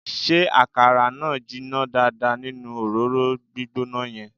Ṣé àkàrà náà jiná dáadáa nínú òróró gbígbóná yẹn?